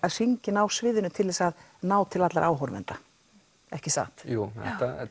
hringinn á sviðinu til þess að ná til allra áhorfenda ekki satt jú